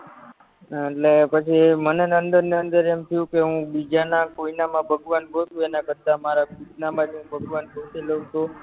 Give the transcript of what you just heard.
એટલે પછી મને અંદર ને અંદર એમ થયું કે હું બીજાના કોયનામાં ભગવાન ગોતું એના કરતા મારા ખુદનામાં જ ભગવાન ગોતી લવ તો